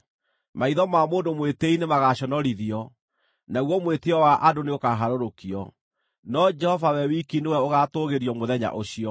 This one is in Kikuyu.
Maitho ma mũndũ mwĩtĩĩi nĩmagaconorithio, naguo mwĩtĩĩo wa andũ nĩũkaharũrũkio; no Jehova we wiki nĩwe ũgaatũũgĩrio mũthenya ũcio.